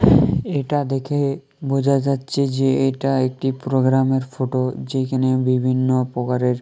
এটা দেখে বোঝা যাচ্ছে যে এটা একটি প্রোগ্রামের ফটো যেখানে বিভিন্ন প্রকারের।